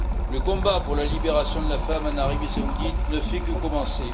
Le combat pour la libération de la femme en Arabie saoudite ne fait que commencer.